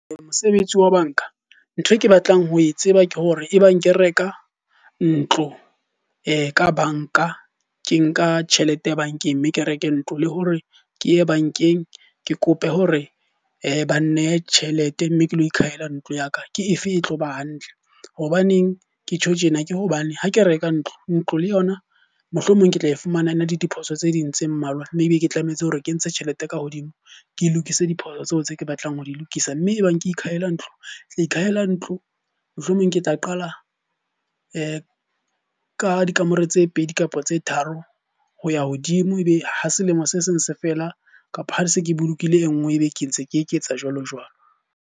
Mosebetsi wa banka, ntho e ke batlang ho e tseba ke hore ebang ke reka ntlo ka banka, ke nka tjhelete bankeng mme ke reke ntlo. Le hore ke ye bankeng ke kope hore ba nnehe tjhelete mme ke lo ikhahela ntlo ya ka, ke efe e tlo ba hantle hobaneng ke tjho tjena ke hobane ha ke reka ntlo, ntlo le yona mohlomong ke tla e fumana e na le diphoso tse ding tse mmalwa. Mme e be ke tlametse hore ke entshe tjhelete ka hodimo ke lokise diphoso tseo tse ke batlang ho di lokisa. Mme e bang ke ikhahela ntlo, ke tlaa ikhahela ntlo mohlomong ke tla qala ka dikamore tse pedi kapa tse tharo ho ya hodimo. E be ha selemo se seng se fela kapa ha di se ke bolokile e nngwe, e be ke ntse ke eketsa jwalo jwalo.